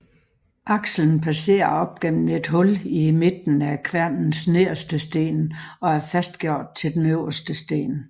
Akselen passerer op gennem et hul i midten af kværnens nederste sten og er fastgjort til den øverste sten